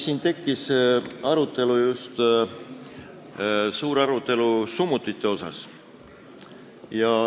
Suur arutelu tekkis summutite üle.